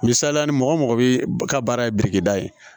Misali la ni mɔgɔ mɔgɔ bɛ ka baara ye birikida ye